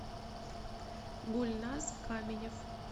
гульназ каменев